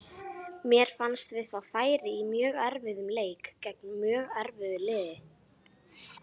Mér fannst við fá færi í mjög erfiðum leik gegn mjög erfiðu liði.